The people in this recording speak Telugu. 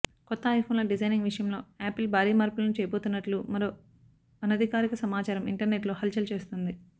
కొత్త ఐఫోన్ల డిజైనింగ్ విషయంలో యాపిల్ భారీ మార్పులను చేయబోతున్నట్లు మరో అనధికారిక సమచారం ఇంటర్నెట్లో హల్చల్ చేస్తోంది